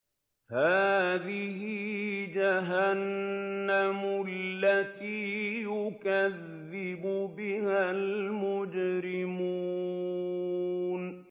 هَٰذِهِ جَهَنَّمُ الَّتِي يُكَذِّبُ بِهَا الْمُجْرِمُونَ